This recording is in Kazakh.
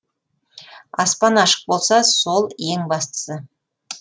аспан ашық болса сол ең бастысы